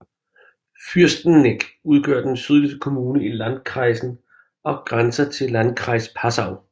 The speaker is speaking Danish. Fürsteneck udgør den sydligste kommune i landkreisen og grænser til Landkreis Passau